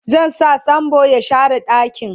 zan sa sambo ya share ɗakin